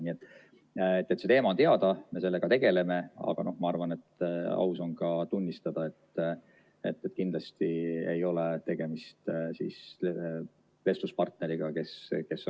Nii et see teema on teada, me sellega tegeleme, aga ma arvan, et aus on ka tunnistada, et kindlasti ei ole tegemist kõige lihtsama vestluspartneriga selles küsimuses.